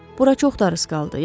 Bura çox darısqaldı.